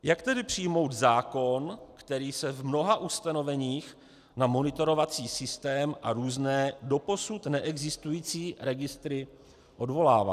Jak tedy přijmout zákon, který se v mnoha ustanoveních na monitorovací systém a různé doposud neexistující registry odvolává?